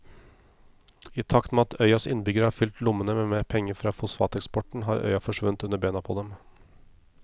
I takt med at øyas innbyggere har fylt lommene med penger fra fosfateksporten har øya forsvunnet under beina på dem.